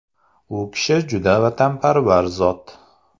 U kishi juda vatanparvar zot.